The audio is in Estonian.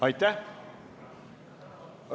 Aitäh!